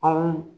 Anw